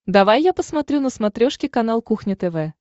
давай я посмотрю на смотрешке канал кухня тв